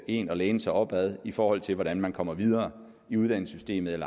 en at læne sig op ad i forhold til hvordan man kommer videre i uddannelsessystemet